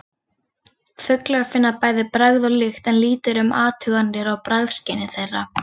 Fuglar finna bæði bragð og lykt en lítið er um athuganir á bragðskyni þeirra.